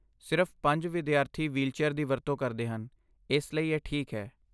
ਸਿਰਫ਼ ਪੰਜ ਵਿਦਿਆਰਥੀ ਵ੍ਹੀਲਚੇਅਰ ਦੀ ਵਰਤੋਂ ਕਰਦੇ ਹਨ, ਇਸ ਲਈ ਇਹ ਠੀਕ ਹੈ।